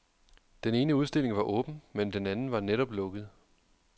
Den ene udstilling var åben, men den anden var netop lukket.